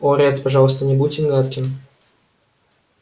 о ретт пожалуйста не будьте гадким